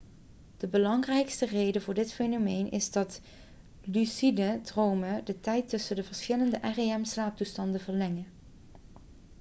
de belangrijkste reden voor dit fenomeen is dat lucide dromen de tijd tussen de verschillende rem-slaaptoestanden verlengen